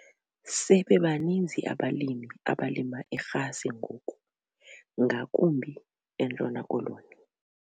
Sebebaninzi abalimi abalima irhasi ngoku ngakumbi eNtshona Koloni.